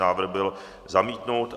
Návrh byl zamítnut.